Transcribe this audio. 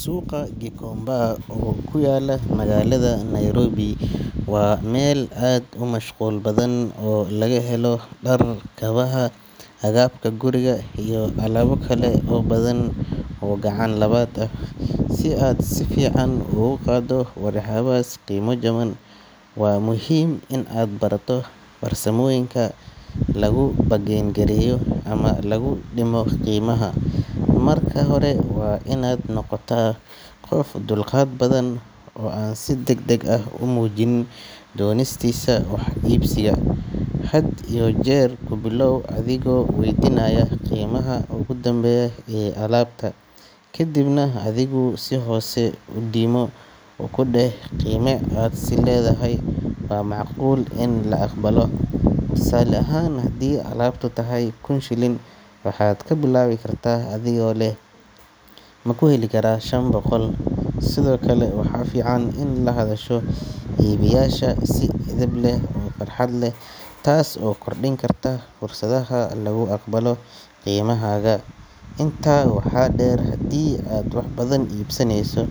Suuqa Gikomba oo ku yaalla magaalada Nairobi waa meel aad u mashquul badan oo laga helo dhar, kabaha, agabka guriga iyo alaabo kale oo badan oo gacan labaad ah. Si aad si fiican uga gado waxyaabahaas qiimo jaban, waa muhiim inaad barato farsamooyinka lagu bargain gareeyo ama lagu dhimo qiimaha. Marka hore, waa inaad noqotaa qof dulqaad badan oo aan si degdeg ah u muujin doonistiisa wax iibsiga. Had iyo jeer ku bilaaw adigoo waydiinaya qiimaha ugu dambeeya ee alaabta, kadibna adigu si hoose u dhimo oo ku dheh qiime aad is leedahay waa macquul in la aqbalo. Tusaale ahaan, haddii alaabtu tahay kun shilin, waxaad ka bilaabi kartaa adigoo leh "Ma ku heli karaa shan boqol?" sidoo kale waxaa fiican inaad la hadasho iibiyaasha si edeb leh oo farxad leh, taas oo kordhin karta fursadda lagu aqbalo qiimahaaga. Intaa waxaa dheer, haddii aad wax badan iibsanayso